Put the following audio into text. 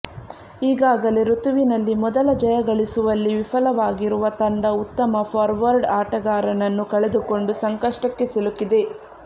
ಈಗಾಗಲೇ ಋತುವಿನಲ್ಲಿ ಮೊದಲ ಜಯ ಗಳಿಸುವಲ್ಲಿ ವಿಫಲವಾಗಿರುವ ತಂಡ ಉತ್ತಮ ಫಾರ್ವರ್ಡ್ ಆಟಗಾರನನ್ನು ಕಳೆದುಕೊಂಡು ಸಂಕಷ್ಟಕ್ಕೆ ಸಿಲುಕಿದೆ